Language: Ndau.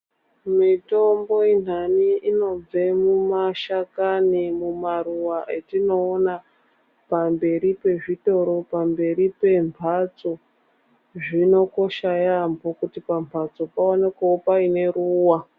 Mitombo inhani inobve mumashakani mumaruva etinoona pamberi pezvitoro pamberi pemhatso zvinokosha yaambo kuti pambatso paonekwewo pane ruwa .